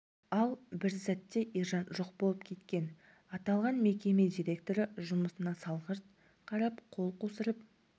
ал бір сәтте ержан жоқ болып кеткен аталған мекеме директоры жұмысына салғырт қарап қол қусырып